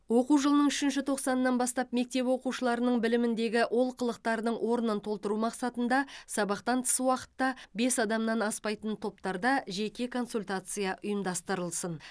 оқу жылының үшінші тоқсанынан бастап мектеп оқушыларының біліміндегі олқылықтардың орнын толтыру мақсатында сабақтан тыс уақытта бес адамнан аспайтын топтарда жеке консультация ұйымдастырылсын